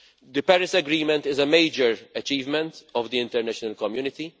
The Paris Agreement is a major achievement of the international community.